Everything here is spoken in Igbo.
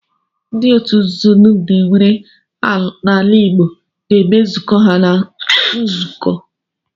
Ndị otu nzuzo dum e nwere n'ala Igbo na-eme nzukọ ha na nzuzo